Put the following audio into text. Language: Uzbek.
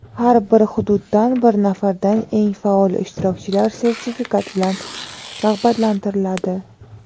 har bir hududdan bir nafardan eng faol ishtirokchilar sertifikat bilan rag‘batlantiriladi.